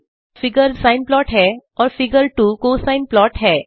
figure 1 sine plot है और figure 2 cosine plot है